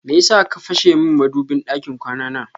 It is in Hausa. Meyasa ka fashe min madubin ɗakin kwana na?